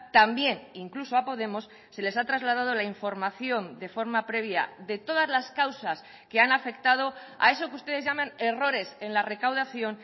también incluso a podemos se les ha trasladado la información de forma previa de todas las causas que han afectado a eso que ustedes llaman errores en la recaudación